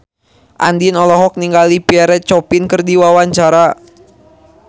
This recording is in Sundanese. Andien olohok ningali Pierre Coffin keur diwawancara